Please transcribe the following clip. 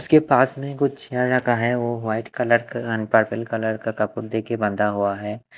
उसके पास में कुछ का है वो वाइट कलर का एंड पर्पल कलर का दे के बांधा हुआ है।